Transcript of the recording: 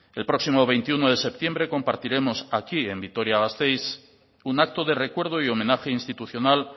el próximo veintiuno de septiembre compartiremos aquí en vitoria gasteiz un acto de recuerdo y homenaje institucional